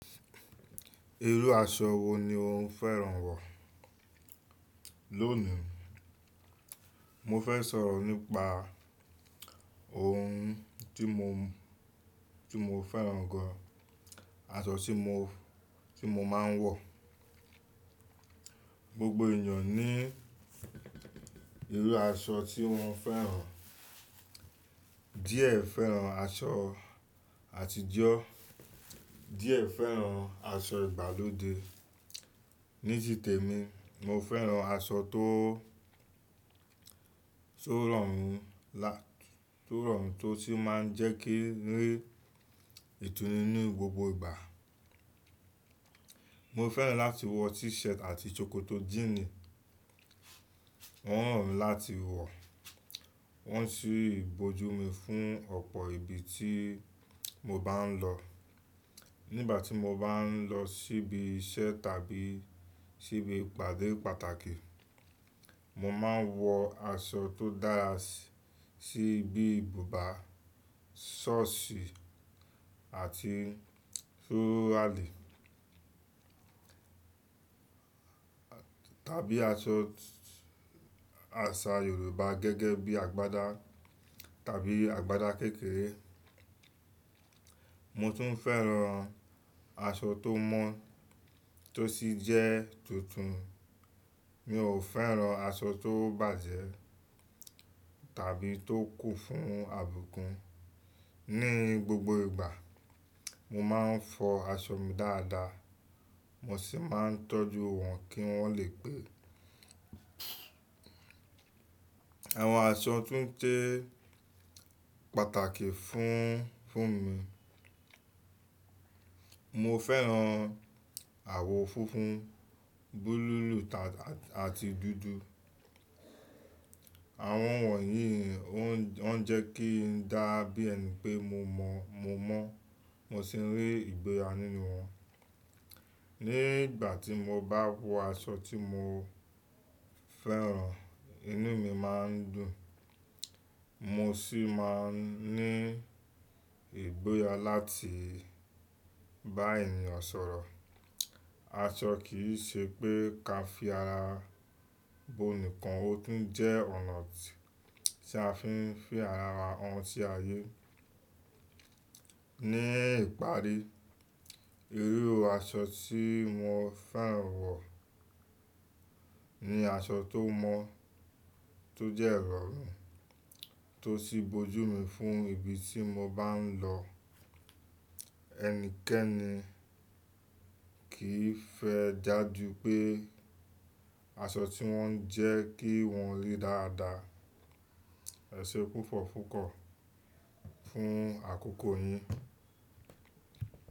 Irú aṣọ wo ni o ń fẹ́ran wọ̀? Lónìí, mo fẹ́ sọ̀rọ̀ nípa ohun tí mo, tí mo fẹ́ran gan, aṣọ tí mo, tí mo máa ń wọ̀. Gbogbo ènìyàn ní irú aṣọ tí wọ́n fẹ́ran. Díẹ̀ fẹ́ran aṣọ àtijọ́, díẹ̀ fẹ́ran aṣọ ìgbàlódé ní ti tẹ̀mi, mo fẹ́ran aṣọ tó, tó rọ̀ mí lá-- tó rọ̀ mí tó sì máa ń jẹ́ kí n rí ìtùnú ní gbogbo ìgbà. Mo fẹ́ran láti wọ t-shirt àti ṣòkòtò jíìnì, wọ́n rọ̀ mí láti wọ̀, wọ́n sì bojú mi fún ọ̀pọ̀ ibi tí mo bá ń lọ. Nígbà tí mo bá ń lọ síbi iṣẹ́ tàbí síbi ìpàdé pàtàkì, mo máa ń wọ aṣọ tó dára síbi ìbúba, ṣọ́ọ̀sì àti sọ́ọ́ràlì. Tàbí aṣọ àṣà Yorùbá gẹ́gẹ́ bí agbádá tàbí agbádá kékeré. Mo tún fẹ́ran aṣọ tó mọ́ tó sì jẹ́ tuntun. Mi ò fẹ́ran aṣọ tó bàjẹ́ tàbí tó kù fún àbùkún. Ní gbogbo ìgbà, mo máa ń fọ aṣọ mi dáadáa, mo sì máa ń tọ́jú wọn kí wọ́n lè pé. Àwọn aṣọ tún je pàtàkì fún, fún mi. Mo fẹ́ran àwọ̀ funfun, búlúù àti dúdú. Àwọn wọ̀nyí ó ń, ọ́n jẹ́ kí n dá bí ẹni pé mo mọ̀, mo mọ́, mo sì ń rí ìgbéyàwó nínú wọn. Nígbà tí mo bá wọ aṣọ tí mo fẹ́ran, inú mi máa ń dùn, mo sì máa ń ní ìgboya láti bá ènìyàn sọ̀rọ̀. Aṣọ kì í ṣe pé kí a fi ara bo nìkan, ó tún jẹ́ ọ̀nà tí a fi ń fi ara wa han sí ayé. Ní ìparí, irú aṣọ tí mo fẹ́ran wọ̀ ni aṣọ tó mọ́, tó jẹ́ rọ̀ mī, tó sì bojú mu fún ibi tí mo bá ń lọ. Ẹnikẹ́ni kì í fẹ́ já ju pé aṣọ tí wọ́n ń jẹ́ kí wọ́n rí dáadáa. Ẹ ṣe pùpọ̀ pupo fún àkókò yín.